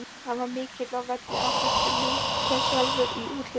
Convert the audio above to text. Hann var mikill á velli, áþekkur Lúter sjálfum í útliti.